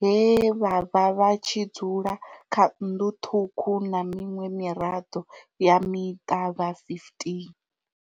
he vha vha vha tshi dzula kha nnḓu ṱhukhu na miṅwe miraḓo ya muṱa ya 15.